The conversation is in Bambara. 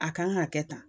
A kan ka kɛ tan